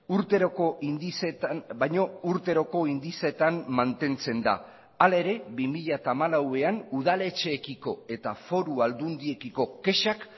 urteroko indizeetan baino urteroko indizeetan mantentzen da hala ere bi mila hamalauean udaletxeekiko eta foru aldundiekiko kexak